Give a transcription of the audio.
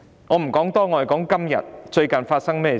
我說說最近發生的事。